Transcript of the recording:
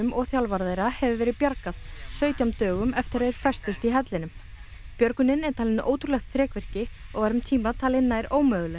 og þjálfara þeirra hefur verið bjargað sautján dögum eftir að þeir festust í hellinum björgunin er talin ótrúlegt þrekvirki og var um tíma talin nær ómöguleg